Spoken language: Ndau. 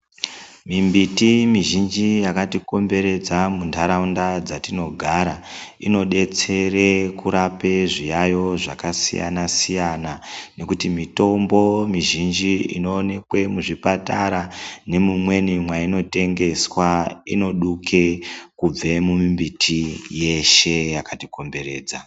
Mimbiti mizhinji yakatikomberedza mundaraunda dzatinogara inodetsera kurape zviyaiyo zvakasiyana siyana nekuti mizhinji inoonekwe muzvipatara nemumweni mwainotengeswa inoduke kubve mumimbiti yeshe yakatikomberedza.